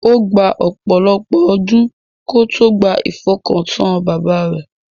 Ó gba ọ̀pọ̀lọ̀pọ̀ ọdún kó tó gba ifọkàntán bàbá rẹ̀.